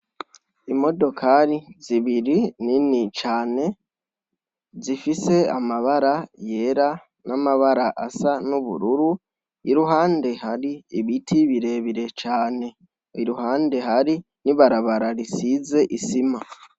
Imodokari zibiri ni ni cane zifise amabara yera n'amabara asa ni'ubururu iruhande hari ibiti birebire cane iruhande hari n'ibarabara risize isima.